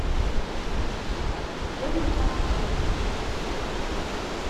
женя сабуров